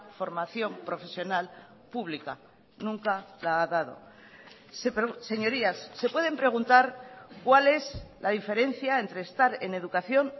formación profesional pública nunca la ha dado señorías se pueden preguntar cuál es la diferencia entre estar en educación